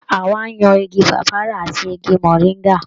Hawa yan igi pàpáyà àti igi mọ̀ríńgà.